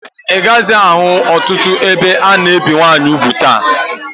Ị gaghịzị ahụ ọtụtụ ebe a na-ebe nwaanyị ugwu taa